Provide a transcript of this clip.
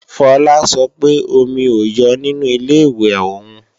Fola sọ pé omi ò yọ nínu Ilé-ìwẹ̀ òun